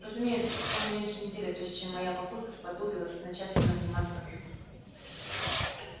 разумеется прошло не меньше недели прежде чем моя папулька сподобилась начать со мной заниматься компьютером